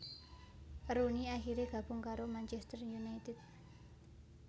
Rooney akhirè gabung karo Manchester united